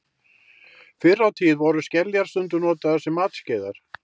Fyrr á tíð voru skeljar stundum notaðar sem matskeiðar.